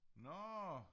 Nårh